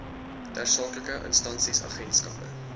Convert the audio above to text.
tersaaklike instansies agentskappe